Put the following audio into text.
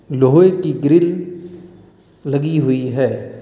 लोहे की ग्रिल लगी हुई है।